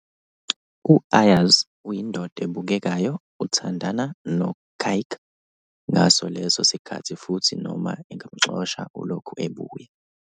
UAyaz uyindoda ebukekayo, uthandana no-kyk ngaso leso sikhathi futhi noma engamxosha, ulokhu ebuya.